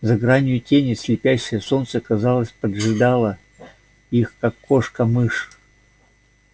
за гранью тени слепящее солнце казалось поджидало их как кошка мышь